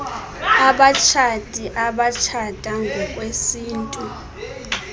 abatshati abatshata ngokwesintu